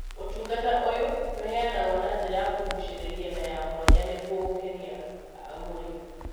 ũtugata ũyũ nĩũheanagwo na njĩra ya kũgucĩrĩria na ya mwanya nĩguo gũkenia agũri.